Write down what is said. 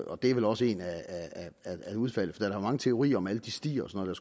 og det er vel også et af udfaldene for mange teorier om alle de stier og sådan